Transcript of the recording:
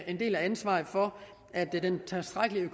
en del af ansvaret for at den tilstrækkelige